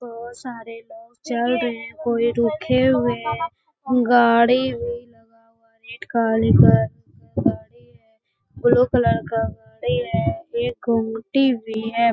बहुत सारे लोग चल रहे हैं कोई रुके हुए हैं। गाड़ी भी लगा हुआ है रेड काले कलर का गाड़ी है ब्लू कलर का गाड़ी है। एक गुमटी भी है |